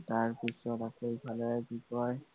তাৰপিছত আছে ইফালে কি কয়